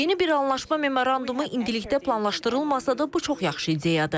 Yeni bir anlaşma memorandumu indilikdə planlaşdırılmasa da, bu çox yaxşı ideyadır.